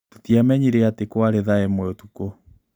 Tũtiamenyire atĩ kwarĩ thaa ĩmwe ũtukũ.